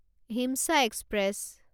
হিমচা express